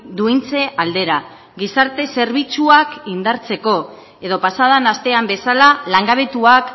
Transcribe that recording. duintze aldera gizarte zerbitzuak indartzeko edo pasa den astean bezala langabetuak